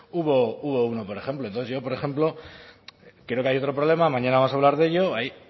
hubo uno por ejemplo entonces yo por ejemplo creo que hay otro problema mañana vamos a hablar de ello hay